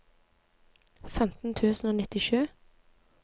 femten tusen og nittisju